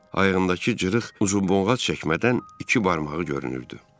Ayağındakı cırıq uzubonqat çəkmədən iki barmağı görünürdü.